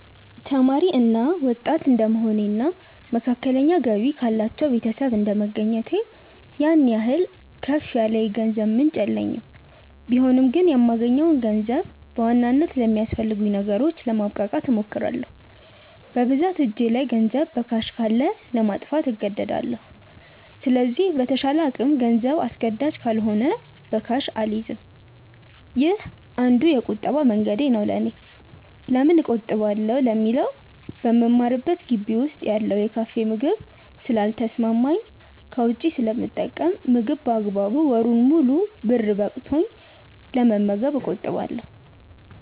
ተማሪ እና ወጣት እድንደመሆኔ እና መካከለኛ ገቢ ካላቸው ቤተሰብ እንደመገኘቴ ያን ያህል ከፍ ያለ የገንዘብ ምንጭ የለኝም ቢሆንም ግን የማገኘውን ገንዘብ በዋናነት ለሚያስፈልጉኝ ነገሮች ለማብቃቃት እሞክራለው። በብዛት እጄ ላይ ገንዘብ በካሽ ካለ ለማጥፋት እንደዳለው ስለዚህ በተቻለ አቅም ገንዘብ አስገዳጅ ካልሆነ በካሽ አልይዝም። ይህ አንዱ የቁጠባ መንገዴ ነው ለኔ። ለምን እቆጥባለው ለሚለው በምማርበት ግቢ ውስጥ ያለው የካፌ ምግብ ስለ ልተሰማማኝ ከውጪ ስለምጠቀም ምግብ በአግባቡ ወሩን ሙሉ ብር በቅቶኝ ለመመገብ እቆጥባለው።